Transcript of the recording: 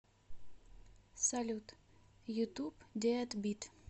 салют ютуб дэад бит